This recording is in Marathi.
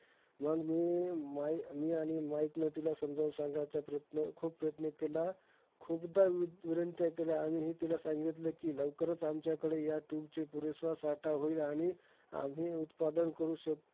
मंग मी माई मी आणि माईक ने तिला समजून सांगायचा प्रयत्न खूप प्रयत्न केला, खुपदा विनंत्या केल्या. आणि तिला हे सांगितलं कि लवकरचं, आमच्याकडे ह्या tube चा पुरेसा साठा होईल आणि आम्ही उत्पादन करू शक